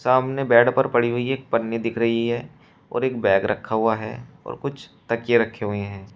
सामने बेड पर पड़ी हुई एक पन्नी दिख रही है और एक बैग रखा हुआ है और कुछ तकिया रखे हुए हैं।